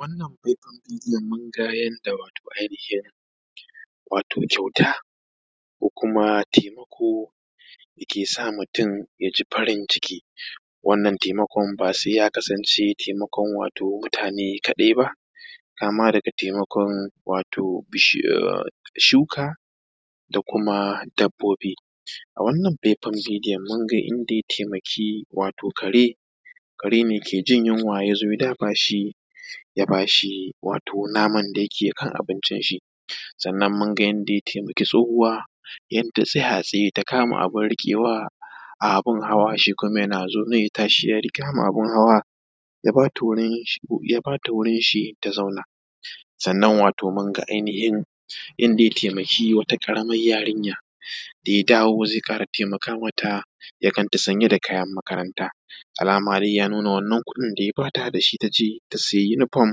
Wannan faifan bidiyon mun ga wato ainihin wato kyauta ko kuma taimkao dake sa mutum ya ji farin ciki, wannan taimakon ba se ya kasance taimakon wato mutane kaɗai ba, kama daga taimakon shuka da kuma dabobbi a wannan faifan bidiyon mun ga inda ya taimaki wato kare, karene ke jin yunwa ya zo ya ba shi ya ba shi wato naman da yake kan abincin shi. Sannan mun ga yadda ya taimaki tsohuwa yadda tana tsaya a tsaya ta kama abun riƙewa a abun hawa, shi kuma ya tashi ya zo ya riƙe mata abun hawa ya ba ta wurin shi domin ta zauna. Sannan wato mun ga ainihin inda ya taimaki wata ƙaraman yarinya da ya dawo ze ƙara taimakon mata ya ganta sanye da kayan makaranta, alama dai ya nuna wannan kuɗin da ya bata da shi ta siya yunifom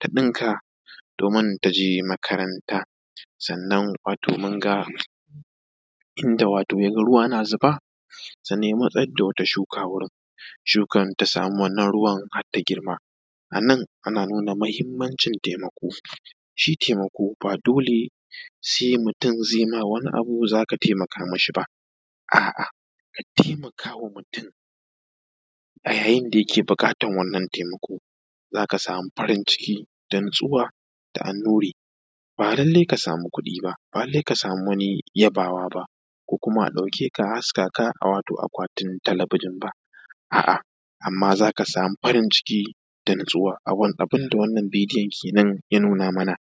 ta ɗinka domin ta je makaranta. Sannan kuma wato mun ga inda ruwa na zuba sannan ya matsar da wata shuka wurin shukan ta samu wannan ruwan har ta girma, a nan ana nuna mahinmancin taimako, shi taimako ba dole se mutum ze ma wani abu, za ka taimaka mishi ba a’a, ka taimaka wa mutum a yayin da yake buƙatan wannan taimako, za ka samu farin-ciki dan zuwa ga annuri ba lallai ka samu kuɗi ba, ba lallai ka samu wani yabawa ba, ko kuma a ɗaukeka a haska ka wato akwatin talabijin ba, a’a amma za ka samu farin-ciki da natsuwa abun da wannan bidyon kenan ya nuna mana.